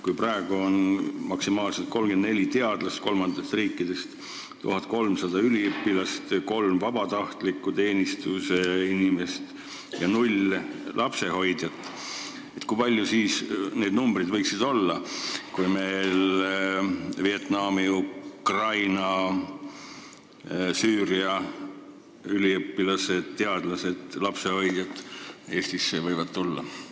Kui praegu on meil kolmandatest riikidest maksimaalselt 34 teadlast, 1300 üliõpilast, kolm vabatahtliku teenistuse inimest ja null lapsehoidjat, kui suured need numbrid siis võiksid olla, kui meile näiteks ka Vietnami, Ukraina ja Süüria üliõpilased, teadlased ja lapsehoidjad võivad tulla?